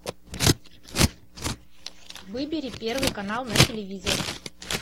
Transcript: выбери первый канал на телевизоре